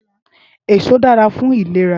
Ésó dàrá fún ilérà